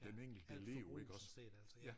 Ja alt forbug sådan set altså ja